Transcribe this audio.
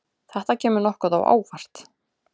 Þetta kemur nokkuð á óvart.